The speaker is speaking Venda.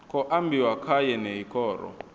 khou ambiwa kha yeneyi khoro